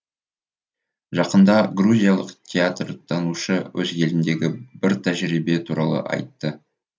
жақында грузиялық театртанушы өз еліндегі бір тәжірибе туралы айтты